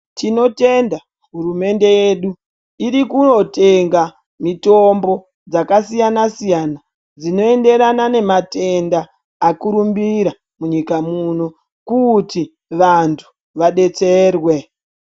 Tinotenda hurumende yedu iri kotenga mitombo dzakasiyana-siyana. Dzinoenderana nematenda akurumbira munyika muno kuti vantu vabetserwe.